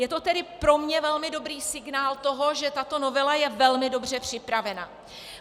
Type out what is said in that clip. Je to tedy pro mě velmi dobrý signál toho, že tato novela je velmi dobře připravena.